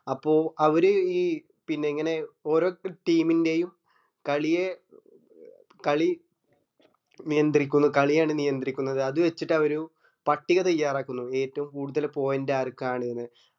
അപ്പൊ അവര് ഈ ഇങ്ങനെ ഓരോ team ൻറെയും കളിയെ കളി നിയന്ത്രിക്കുന്നു കളിയാണ് നിയത്രിക്കുന്നതു അത് വച്ചിട്ട് അവ ഒരു പട്ടിക തയ്യാറാക്കുന്നു ഏറ്റവും കൂടുതൽ point ആർക്കാണ് ന്ന്